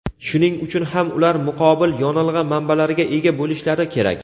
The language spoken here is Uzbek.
shuning uchun ham ular muqobil yonilg‘i manbalariga ega bo‘lishlari kerak.